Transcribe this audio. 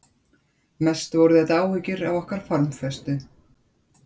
Mest voru þetta áhyggjur af okkar formföstu